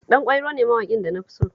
Ɗanƙwairo ne mawaƙin da na fi so